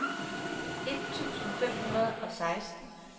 et tusind fem hundrede og seksten